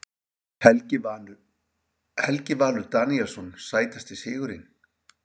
Helgi Valur Daníelsson Sætasti sigurinn?